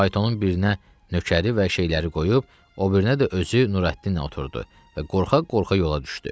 Faytonun birinə nökəri və şeyləri qoyub, o birinə də özü Nurəddinlə oturdu və qorxa-qorxa yola düşdü.